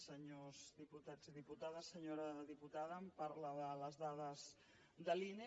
senyors diputats i diputades senyora diputada em parla de les dades de l’ine